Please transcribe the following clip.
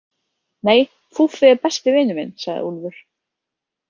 Nei, Fúffi er besti vinur minn, sagði Úlfur.